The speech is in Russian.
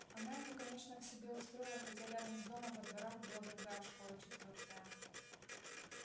она его конечно к себе устроила хотя рядом с домом во дворах была другая школа четвёртая